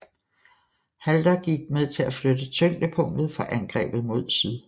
Halder gik med til at flytte tyngdepunktet for angrebet mod syd